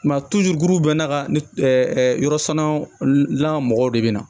Mɛ gurubɛ na ka ni yɔrɔ sanna lan mɔgɔw de bɛ na